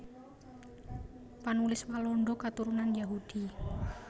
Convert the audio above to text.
Panulis Walanda katurunan Yahudi